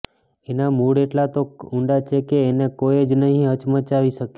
એનાં મૂળ એટલાં તો ઊંડા છે કે એને કોઈ જ નહીં હચમચાવી શકે